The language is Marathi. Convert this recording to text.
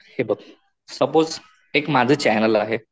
हे बघ सपोज एक माझं चॅनेल आहे.